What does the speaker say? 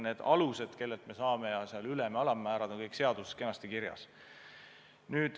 Need alused, kellelt me saame ja summade ülem- ja alammäärad, on kõik seaduses kenasti kirjas.